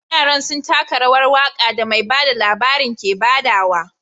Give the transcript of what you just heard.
Yaran sun taka rawar waka da mai bada labarin ke badawa.